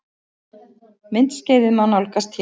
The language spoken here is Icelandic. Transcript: Myndskeiðið má nálgast hér